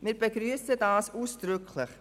Wir begrüssen dies ausdrücklich.